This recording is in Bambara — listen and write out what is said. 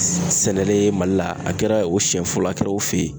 Sɛnɛlen mali la ,a kɛra o siyɛn fɔlɔ ye, a kɛra o fe yen.